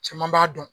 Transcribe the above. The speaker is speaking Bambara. Caman b'a dɔn